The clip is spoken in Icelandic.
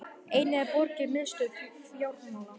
einnig er borgin miðstöð fjármála